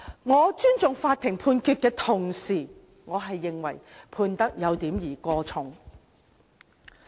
我尊重法院判決的同時，認為判刑有點兒過重。